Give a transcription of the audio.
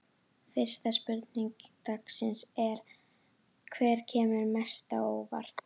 Fyrsta spurning dagsins er: Hver kemur mest á óvart?